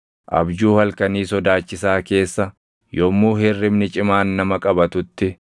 Abjuu halkanii sodaachisaa keessa, yommuu hirribni cimaan nama qabatutti,